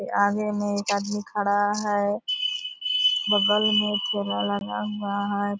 के आगे मे एक आदमी खड़ा है बगल मे ठेला लगा हुआ है --